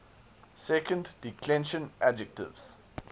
second declension adjectives